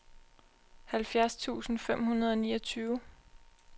halvfjerds tusind fem hundrede og niogtyve